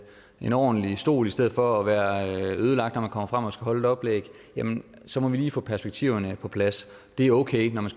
en ordentlig stol i stedet for at være ødelagt når man kommer frem og skal holde et oplæg så må vi lige få perspektiverne på plads det er okay når man